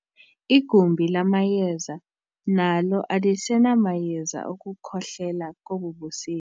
Igumbi lamayeza nalo alisenamayeza okukhohlela kobu busika.